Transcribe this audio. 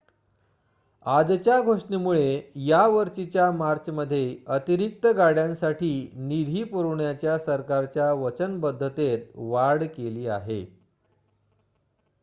आजच्या घोषणेमुळे या वर्षीच्या मार्चमध्ये अतिरिक्त गाड्यांसाठी निधी पुरवण्याच्या सरकारच्या वचनबद्धतेत वाढ केली आहे